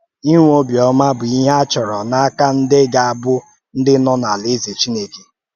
Inwe ọ̀bịọ́mà bụ ihe a chọrọ n’aka ndị gà-abụ̀ ndị nọ n’alaeze Chineke.